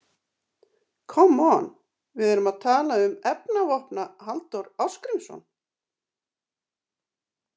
Kommon, við erum að tala um Efnavopna- Halldór Ásgrímsson .